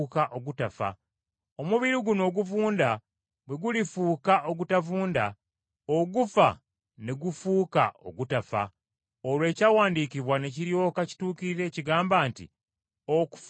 Omubiri guno oguvunda bwe gulifuuka ogutavunda, ogufa ne gufuuka ogutafa, olwo Ekyawandiikibwa ne kiryoka kituukirira ekigamba nti, “Okufa kuwanguddwa.”